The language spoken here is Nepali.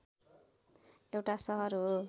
एउटा सहर हो